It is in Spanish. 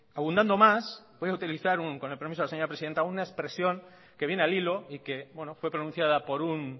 abundando más voy a utilizar con el permiso de la señora presidenta una expresión que viene al hilo y que fue pronunciada por un